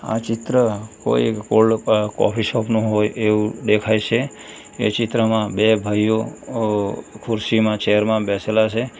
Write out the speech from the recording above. આ ચિત્ર કોઈ એક ઓલ્ડ કોફી શોપ નું હોય એવું દેખાય છે એ ચિત્રમાં બે ભાઈઓ ખુરશીમાં ચેર માં બેસેલા છે.